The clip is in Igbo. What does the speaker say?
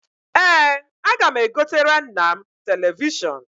Ee, aga m egotere nna m telivishọn.